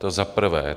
To za prvé.